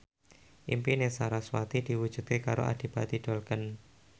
impine sarasvati diwujudke karo Adipati Dolken